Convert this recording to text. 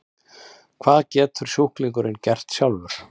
Hvað getur sjúklingurinn gert sjálfur?